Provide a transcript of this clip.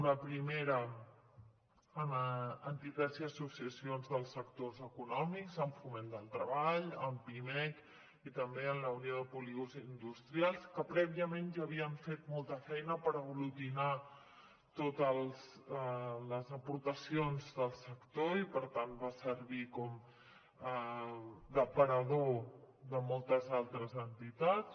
una primera amb entitats i associacions dels sectors econòmics amb foment del treball amb pimec i també amb la unió de polígons industrials que prèviament ja havien fet molta feina per aglutinar totes les aportacions del sector i per tant va servir d’aparador de moltes altres entitats